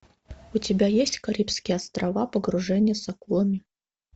у тебя есть карибские острова погружение с акулами